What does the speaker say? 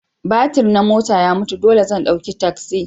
Batir na mota ya mutu dole zan ɗauki taksi.